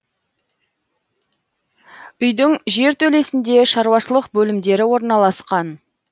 үйдің жертөлесінде шаруашылық бөлімдері ораласқан